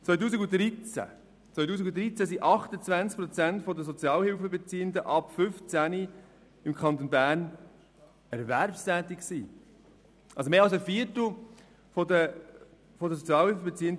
Im Jahr 2013 waren 28 Prozent der Sozialhilfebeziehenden ab 15 Jahren im Kanton Bern erwerbstätig, also mehr als ein Viertel.